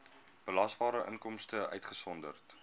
belasbare inkomste uitgesonderd